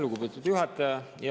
Lugupeetud juhataja!